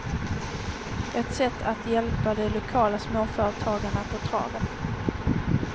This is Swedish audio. Ett sätt är att hjälpa de lokala småföretagarna på traven.